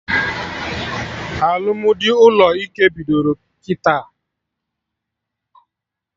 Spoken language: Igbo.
Alụmdi ụlọ ike bidoro kịta